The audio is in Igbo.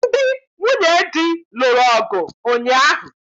Ndị nwunye di lụrụ ọgụ ụnyaahụ